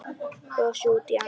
Brosti út í annað.